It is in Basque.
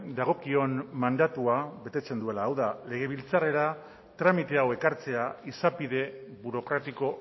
dagokion mandatua betetzen duela hau da legebiltzarrera tramite hau ekartzea izapide burokratiko